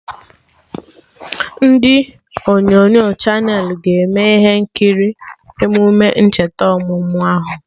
Ndị onyonyo Chanelị ga-eme ihe nkiri emume ncheta ọmụmụ ahụ